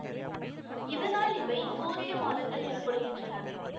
இதனால் இவை சூரிய மாதங்கள் எனப்படுகின்றன